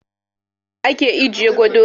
A uwaɗɗaka ake ajiye gado.